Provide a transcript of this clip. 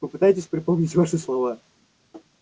попытайтесь припомнить ваши слова